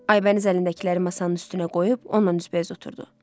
Aybəniz əlindəkiləri masanın üstünə qoyub onunla üzbəüz oturdu.